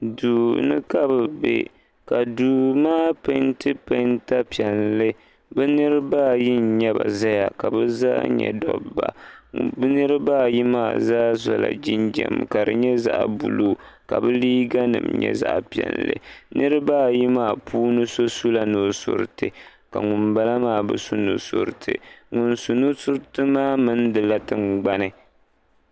Duuni ka bɛ be ka duu maa penti penta piɛlli bɛ niriba ayi n nyɛba zaya ka bɛ zaa nyɛ dobba bɛ niriba ayi maa zaa sola jinjiɛm ka di nyɛ zaɣa buluu ka bɛ liiga nima nyɛ zaɣa piɛlli niriba ayi maa so sula nusuriti ka ŋun bala maa bɛ su nusuriti ŋun su nusuriti maa mindila tingbani.